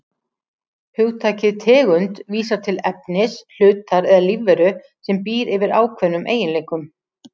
Hugtakið tegund vísar til efnis, hlutar eða lífveru sem býr yfir ákveðnum eiginleikum.